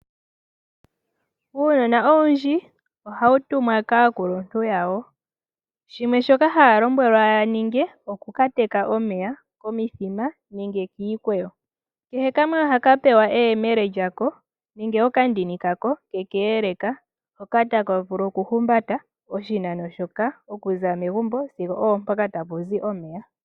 Uunona owundj ohawu tumwa kaakuluntu wayo, hawu lombwelwa wukateke omeya komithima nenge kiikwewo. Kehe kamwe ohaka pewa eyemele nenge okandini kako ke keeleka, hoka taka vulu oku humbata oshinano shokuza megumbo sigo oompoka tapuzi omeya.